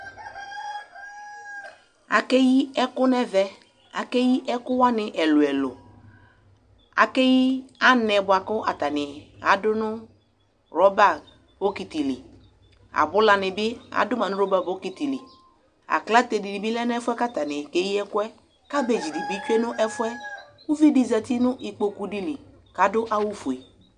Akéyi ɛku nɛ ɛvɛ akéyi ɛku wani ɛluɛlu akéyi anɛ bua ku atani adu nu rɔba bokiti li abula ni bi adu ma nu rɔba kokiti li aklaté dini bi lɛ nu ɛfuɛ ka atani kéyi ɛkuɛ ka agbédi di bi tsué nɛ ɛfuɛ uvidi zɛti nu ikpoku di li kadu awu fué